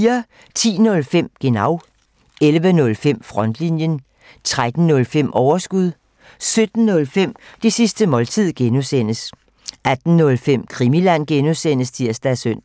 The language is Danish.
10:05: Genau 11:05: Frontlinjen 13:05: Overskud 17:05: Det sidste måltid (G) 18:05: Krimiland (G) (tir og søn)